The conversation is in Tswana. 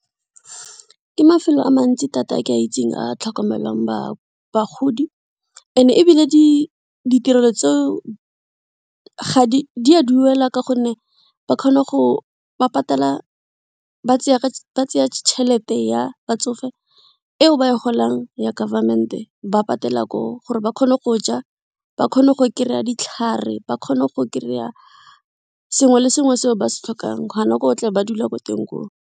Ke mafelo a mantsi thata a ke a itseng a tlhokomelang bagodi and ebile ditirelo tseo di a duela ka gonne ba kgona ba patala ba tseya tšhelete ya batsofe eo ba e golang ya government-e ba patela ko, gore ba kgone go ja, ba kgone go kry-a ditlhare ba kgone go kry-a sengwe le sengwe se ba se tlhokang gona ko tle ba dulang gone ko teng ko.